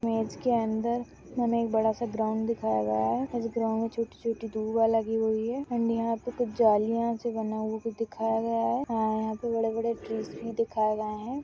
इस इमेज के अंदर हमे एक बड़ा सा ग्राउंड दिखाया गया है इस ग्राउंड छोटी छोटी धुवा लगी हुई है एन्ड यहाँ पे कुछ जालीया सा बना हुवा कुछ दिखाया गया है यहाँ पे बड़े बड़े ट्रीस भी दिखाए गए है।